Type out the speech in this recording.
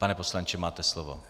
Pane poslanče, máte slovo.